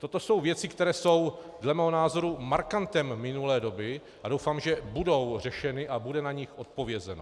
Toto jsou věci, které jsou dle mého názoru markantem minulé doby a doufám, že budou řešeny a bude na ně odpovězeno.